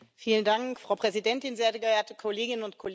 Frau Präsidentin, sehr geehrte Kolleginnen und Kollegen!